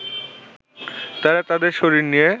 তারা তাদের শরীর নিয়ে